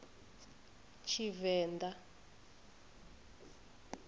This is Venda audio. tshivenḓa